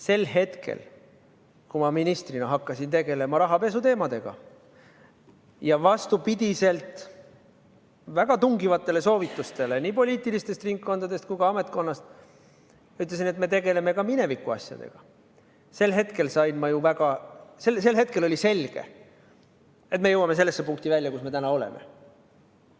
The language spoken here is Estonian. Sel hetkel, kui ma ministrina hakkasin tegelema rahapesuteemadega ja vastupidi väga tungivatele nii poliitilistest ringkondadest kui ka ametkonnast saadud soovitustele ütlesin, et me tegeleme mineviku asjadega, oli selge, et me jõuame välja sellesse punkti, kus me täna oleme.